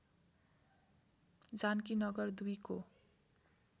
जानकीनगर २ को